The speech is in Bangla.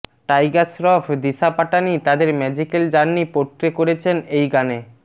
টাইগার শ্রফ দিশা পাটানি তাদের ম্যাজিকাল জার্নি পোট্রে করেছেন এই গানে